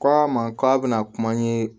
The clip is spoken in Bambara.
Ko a ma k'a bɛna kuma n ye